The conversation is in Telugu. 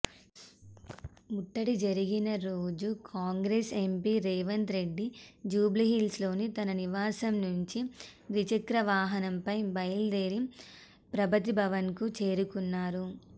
ముట్టడి జరిగిన రోజు కాంగ్రెస్ ఎంపీ రేవంత్రెడ్డి జూబ్లీహిల్స్లోని తన నివాసం నుంచి ద్విచక్ర వాహనంపై బయల్దేరి ప్రగతిభవన్కు చేరుకున్నారు